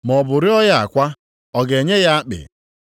Maọbụ rịọọ ya akwa, ọ ga-enye ya akpị?